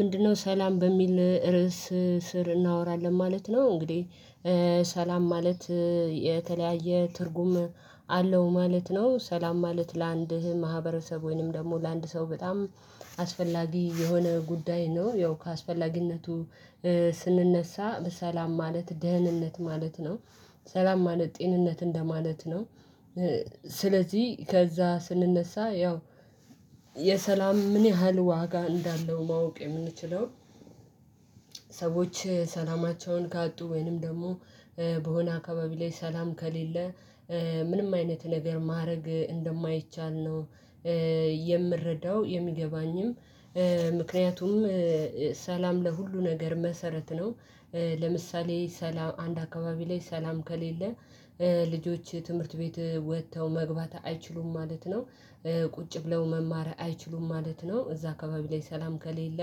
ምንድነው ሰላም በሚል ርዕስ ስር እናወራለን ማለት ነው። እንግዲህ ሰላም ማለት የተለያየ ትርጉም አለው ማለት ነው። ሰላም ማለት ለአንድ ማህበረሰብ ወይም ደግሞ ለአንድ ሰው በጣም አስፈላጊ የሆነ ጉዳይ ነው። ያው ከአስፈላጊነቱ ስንነሳ ሰላም ማለት ደህንነት ማለት ነው ሰላም ማለት ጤንነት እንደማለት ነው። ስለዚህ ከዛ ስንነሳ ያው የሰላም ምን ያህል ዋጋ እንዳለው ማወቅ የምንችለው ሰዎች ሰላማቸውን ካጡ ወይንም ደግሞ በሆነ አካባቢ ላይ ሰላም ከሌለ ምንም አይነት ነገር ማድረግ እንደማይቻል ነው። የምረዳው የሚገባኝም ምክንያቱም ሰላም ለሁሉ ነገር መሰረት ነው። ለምሳሌ ሰላም አንድ አካባቢ ላይ ሰላም ከሌለ ልጆች ትምህርት ቤት ወጥተው መግባት አይችሉም ማለት ነው። ቁጭ ብለው መማር አይችሉም ማለት ነው። እዛ አካባቢ ላይ ሰላም ከሌለ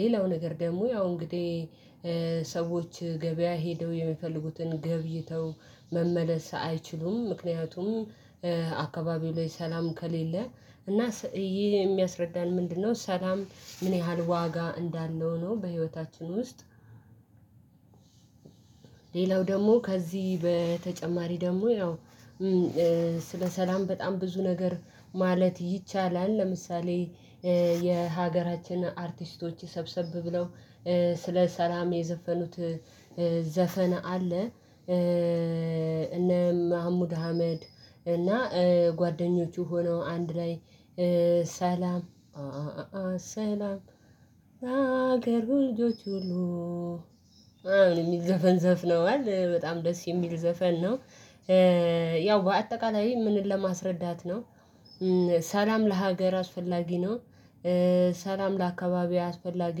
ሌላው ነገር ደግሞ ያው እንግዲህ ሰዎች ገበያ ሄደው የሚፈልጉትን ገብይተው መመለስ አይችሉም ምክንያቱም አካባቢው ላይ ሰላም ከሌለ እና ይሄ የሚያስረዳን ምንድነው ሰላም ምን ያህል ዋጋ እንዳለው ነው። በህይወታችን ውስጥ ሌላው ደግሞ ከዚህ በተጨማሪ ደግሞ ያው ስለ ሰላም በጣም ብዙ ነገር ማለት ይቻላል ለምሳሌ የሀገራችን አርቲስቶች ሰብሰብ ብለው ስለ ሰላም የዘፈኑት ዘፈን አለ። እነ መሀሙድ አህመድ እና ጓደኞቹ ሆነው አንድ ላይ ሰላም ሰላም ሀገር ወንዞች ሁሉ የሚል ዘፈን ዘፍነዋል በጣም ደስ የሚል ዘፈን ነው። ያው በአጠቃላይ ምንን ለማስረዳት ነው ሰላም ለሀገር አስፈላጊ ነው። ሰላም ለአካባቢው አስፈላጊ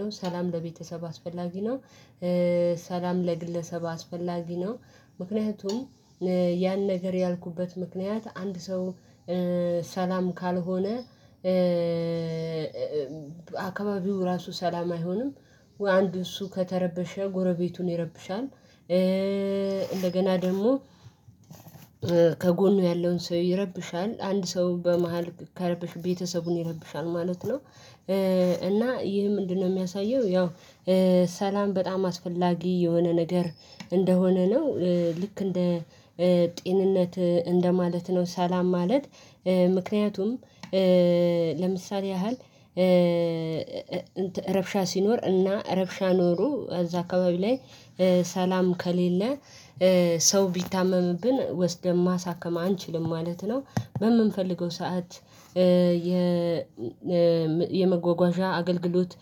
ነው ሰላም ለቤተሰብ አስፈላጊ ነው። ሰላም ለግለሰብ አስፈላጊ ነው። ምክንያቱም ያን ነገር ያልኩበት ምክንያት አንድ ሰው ሰላም ካልሆነ አካባቢው ራሱ ሰላም አይሆንም። አንድ እሱ ከተረበሸ ጎረቤቱን ይረብሻል እንደገና ደግሞ ከጎኑ ያለውን ሰው ይረብሻል አንድ ሰው በመሃል ከረበሸ ቤተሰቡን ይረብሻል ማለት ነው። እና ይህ ምንድነው የሚያሳየው ያው ሰላም በጣም አስፈላጊ የሆነ ነገር እንደሆነ ነው። ልክ እንደ ጤንነት እንደማለት ነው። ሰላም ማለት ምክንያቱም ለምሳሌ ያህል ረብሻ ሲኖር እና ረብሻ ኖሮ እዛ አካባቢ ላይ ሰላም ከሌለ ሰው ቢታመምብን ወስደን ማሳከም አንችልም ማለት ነው። በምንፈልገው ሰዓት የመጓጓዣ አገልግሎት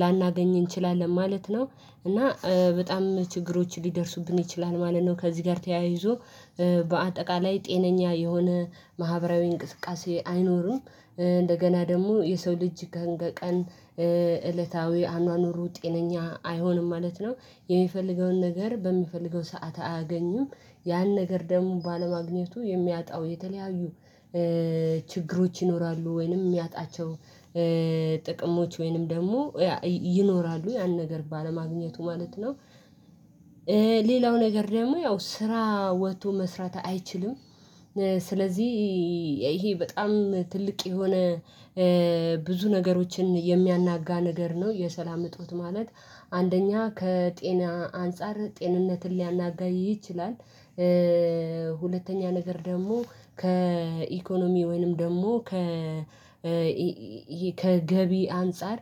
ላናገኝ እንችላለን ማለት ነው። እና በጣም ችግሮች ሊደርሱብን ይችላል ማለት ነው። ከዚህ ጋር ተያይዞ በአጠቃላይ ጤነኛ የሆነ ማህበራዊ እንቅስቃሴ አይኖርም እንደገና ደግሞ የሰው ልጅ ቀን እለታዊ አኗኗሩ ጤነኛ አይሆንም ማለት ነው። የሚፈልገውን ነገር በሚፈልገው ሰዓት አያገኙም ያን ነገር ደግሞ ባለማግኘቱ የሚያጣው የተለያዩ ችግሮች ይኖራሉ ወይንም የሚያጣቸው ጥቅሞች ወይንም ደግሞ ይኖራሉ ያን ነገር ባለማግኘቱ ማለት ነው። ሌላው ነገር ደግሞ ያው ስራ ወጥቶ መስራት አይችልም። ስለዚህ ይሄ በጣም ትልቅ የሆነ ብዙ ነገሮችን የሚያናጋ ነገር ነው። የሰላም እጦት ማለት አንደኛ ከጤና አንፃር ጤንነትን ሊያናጋ ይችላል። ሁለተኛ ነገር ደግሞ ከኢኮኖሚ ወይንም ደግሞ ከ ከገቢ አንፃር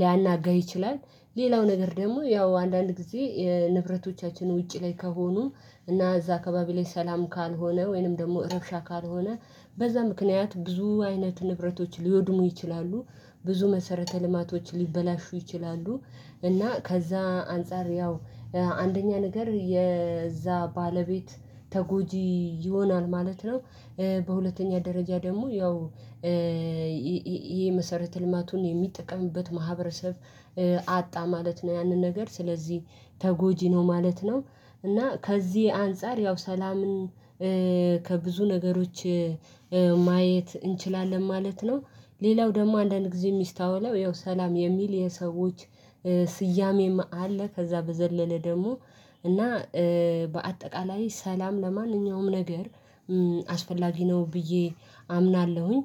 ሊያናጋ ይችላል። ሌላው ነገር ደግሞ ያው አንዳንድ ጊዜ የንብረቶቻችን ውጪ ላይ ከሆኑ እና እዛ አካባቢ ላይ ሰላም ካልሆነ ወይንም ደግሞ እረብሻ ካልሆነ በዛ ምክንያት ብዙ አይነት ንብረቶች ሊወድሙ ይችላሉ። ብዙ መሰረተ ልማቶች ሊበላሹ ይችላሉ። እና ከዛ አንፃር ያው አንደኛ ነገር የዛ ባለቤት ተጎጂ ይሆናል ማለት ነው። በሁለተኛ ደረጃ ደግሞ ያው ይሄ የመሰረተ ልማቱን የሚጠቀምበት ማህበረሰብ አጣ ማለት ነው። ያንን ነገር ስለዚህ ተጎጂ ነው ማለት ነው። እና ከዚህ አንፃር ያው ሰላምን ከብዙ ነገሮች ማየት እንችላለን ማለት ነው። ሌላው ደግሞ አንዳንድ ጊዜ የሚስተዋለው ይኸው ሰላም የሚል የሰዎች ስያሜም አለ ከዛ በዘለለ ደግሞ እና በአጠቃላይ ሰላም ለማንኛውም ነገር አስፈላጊ ነው። ብዬ አምናለሁኝ።